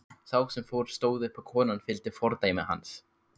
Sá sem fór stóð upp og konan fylgdi fordæmi hans.